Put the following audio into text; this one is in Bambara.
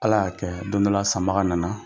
Ala y'a kɛ don dƆ la sanbaga nana,